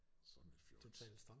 Sådan et fjols